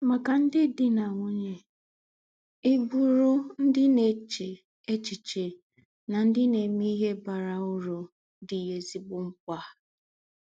Màkà ndị̀ dì̄ na nwúnye, í bùrù ndị̀ na-èchē èchíché na ndị̀ na-emè íhè bàrà ūrù dì̄ ézígbò ḿkpà.